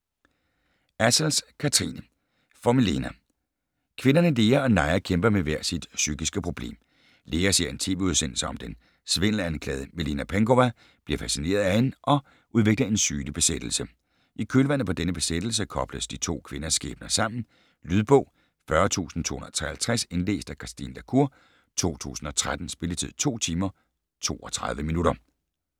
Assels, Kathrine: For Milena Kvinderne Lea og Naja kæmper med hver sit psykiske problem. Lea ser en tv-udsendelse om den svindelanklagede Milena Penkowa, bliver fascineret af hende og udvikler en sygelig besættelse. I kølvandet på denne besættelse kobles de to kvinders skæbner sammen. Lydbog 40253 Indlæst af Christine La Cour, 2013. Spilletid: 2 timer, 32 minutter.